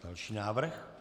Další návrh.